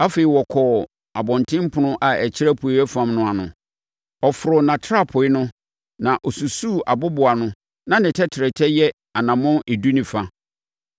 Afei, ɔkɔɔ abɔntenpono a ɛkyerɛ apueeɛ fam no ano. Ɔforoo nʼatrapoe no na ɔsusuu aboboano na ne tɛtrɛtɛ yɛ anammɔn edu ne fa.